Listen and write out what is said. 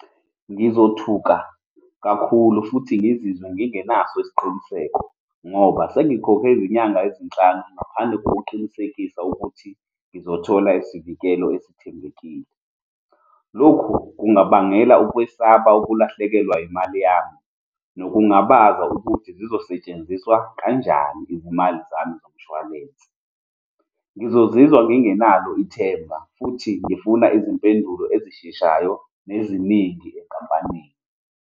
Ngizothuka kakhulu futhi ngizizwe ngingenaso isiqiniseko ngoba sengikhokhe izinyanga ezinhlanu ngaphandle kokuqinisekisa ukuthi ngizothola isivikelo esithembekile. Lokhu kungabangela ukwesaba ukulahlekelwa imali yami nokungabaza ukuthi zizosetshenziswa kanjani izimali zami zomshwalense. Ngizozizwa ngingenalo ithemba futhi ngifuna izimpendulo ezisheshayo neziningi enkampanini.